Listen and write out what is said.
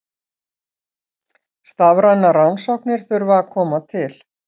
Starfrænar rannsóknir þurfa að koma til.